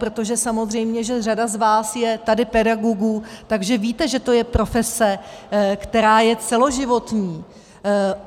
Protože samozřejmě řada z vás je tady pedagogů, tak víte, že je to profese, která je celoživotní.